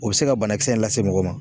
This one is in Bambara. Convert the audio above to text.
O bɛ se ka banakisɛ in lase mɔgɔ ma.